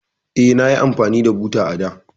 Eh, nayi amfani da buta a da.